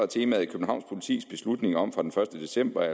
temaet københavns politis beslutning om fra den første december at